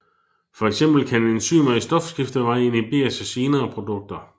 For eksempel kan enzymer i stofskifteveje inhiberes af senere produkter